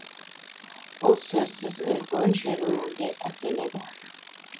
бұл сөзсіз үлкен шеруге әкеледі